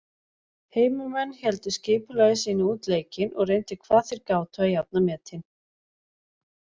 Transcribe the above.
Heimamenn héldu skipulagi sínu út leikinn og reyndu hvað þeir gátu að jafna metin.